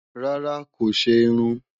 Rárá, kò ṣe irun